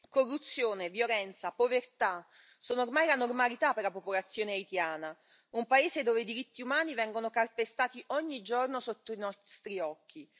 Corruzione, violenza e povertà sono ormai la normalità per la popolazione haitiana, un paese dove i diritti umani vengono calpestati ogni giorno sotto i nostri occhi.